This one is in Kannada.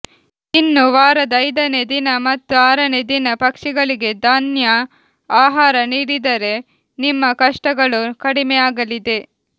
ಇನ್ನು ವಾರದ ಐದನೇ ದಿನ ಮತ್ತು ಆರನೇ ದಿನ ಪಕ್ಷಿಗಳಿಗೆ ಧನ್ಯಾ ಆಹಾರ ನೀಡಿದರೆ ನಿಮ್ಮ ಕಷ್ಟಗಳು ಕಡಿಮೆ ಆಗಲಿದೆ